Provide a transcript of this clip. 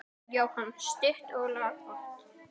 Jóhann: Stutt og laggott?